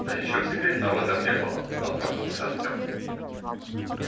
да ничего секретного в этом не было отмахнулся артём